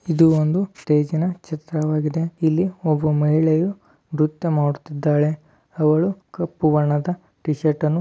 ಇದು ಒಂದು ಸ್ಟೇಜ್ ನ್ ಚಿತ್ರ ವಾಗಿದೆ . ಇಲ್ಲಿ ಒಬ್ಬ ಮಹಿಳೆಯು ನೃತ್ಯ ಮಾಡುತ್ತಿದ್ದಾಳೆ . ಅವಳು ಕಪ್ಪು ಬಣ್ಣದ ಟಿ ಶಿರ್ಟ್ನ್ನು --